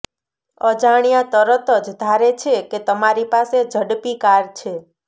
અજાણ્યા તરત જ ધારે છે કે તમારી પાસે ઝડપી કાર છે